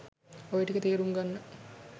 ඔය ටික තේරුම් ගන්න